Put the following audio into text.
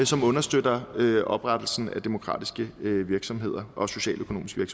som understøtter oprettelsen af demokratiske virksomheder og socialøkonomiske